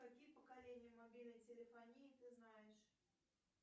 какие поколения мобильной телефонии ты знаешь